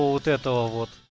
вот этого вот